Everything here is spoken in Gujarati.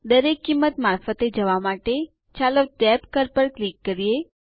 દરેક કિંમત મારફતે જવા માટે ચાલો ટેબ કળ પર ક્લિક કરીએ